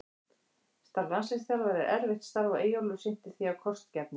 Starf landsliðsþjálfara er erfitt starf og Eyjólfur sinnti því af kostgæfni.